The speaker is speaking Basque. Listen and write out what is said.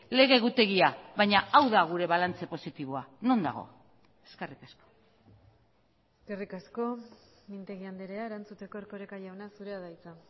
lege egutegia baina hau da gure balantze positiboa non dago eskerrik asko eskerrik asko mintegi andrea erantzuteko erkoreka jauna zurea da hitza